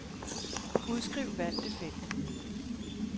Udskriv valgte felt.